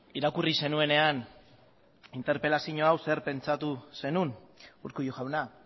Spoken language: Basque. irakurri zenuenean interpelazio hau zer pentsatu zenuen urkullu jauna